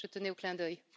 Je tenais au clin d'œil.